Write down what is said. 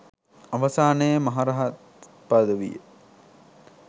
අවසානයේ මහරහත් පදවිය